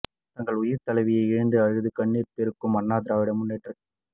தங்கள் உயிர்த் தலைவியை இழந்து அழுது கண்ணீர் பெருக்கும் அண்ணா திராவிட முன்னேற்றக்